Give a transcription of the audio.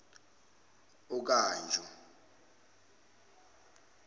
okanjo